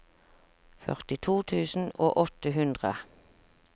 førtito tusen og åtte hundre